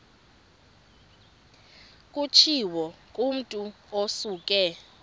kutshiwo kumotu osuke